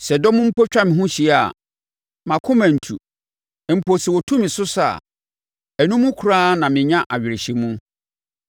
Sɛ dɔm mpo twa me ho hyia a, mʼakoma rentu; mpo sɛ wɔtu me so sa a, ɛno mu koraa na menya awerɛhyɛmu.